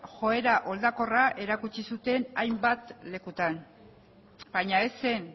joera oldarkorra erakutsi zuten hainbat lekutan baina ez zen